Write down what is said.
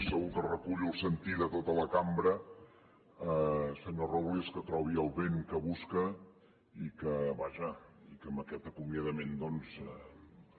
segur que recullo el sentir de tota la cambra senyor robles que trobi el vent que busca i que vaja amb aquest acomiadament doncs